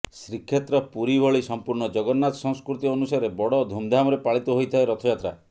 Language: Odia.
ଶ୍ରୀକ୍ଷେତ୍ର ପୁରୀଭଳି ସମ୍ପୁର୍ଣ୍ଣ ଜଗନ୍ନାଥ ସଂସ୍କୃତି ଅନୁସାରେ ବଡ ଧୁମଧାମରେ ପାଳିତ ହୋଇଥାଏ ରଥଯାତ୍ରା